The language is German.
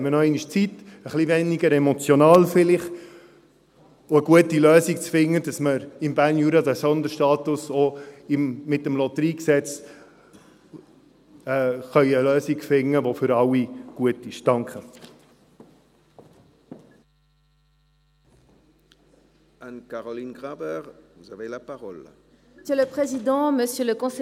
Man hat noch einmal Zeit, ein bisschen weniger emotional vielleicht, um eine gute Lösung zu finden, damit man im Berner Jura mit diesem Sonderstatus und auch mit dem LotG eine Lösung finden kann, die für alle gut ist.